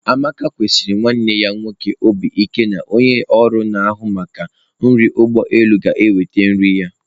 Amaka mesiri nwanne ya nwoke obi ike na onye ọrụ na-ahụ maka nri ụgbọ elu ga-eweta nri ya.